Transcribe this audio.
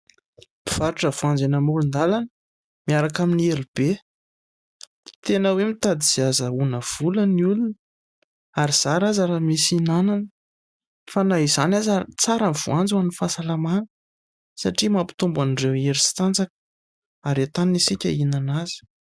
Mpivarotra voanjo eny amoron-dàlana miaraka amin'ny elo be. Tena hoe mitady izay azahoana vola ny olona ary zara aza raha misy hinanana. Fa na izany aza, tsara ny voanjo ho an'ny fahasalamana satria mampitombo an'ireo hery sy tanjaka ary entanina isika ihinana azy.